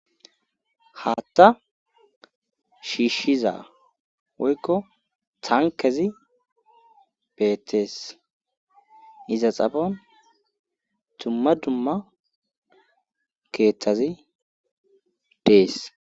Haatta shiishshiza woykko tankezi beetees iza xafon dumma dumma keeththazi dees.